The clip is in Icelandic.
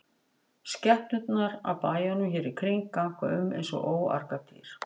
Skepnurnar af bæjunum hér í kring ganga um eins og óargadýr.